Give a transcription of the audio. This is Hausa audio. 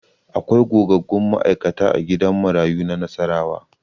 Akwai gogaggun ma'aikata a gidan marayu na Nassarawa.